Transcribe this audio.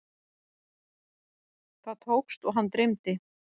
Það tókst og hann dreymdi.